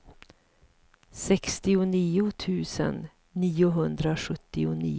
sextionio tusen niohundrasjuttionio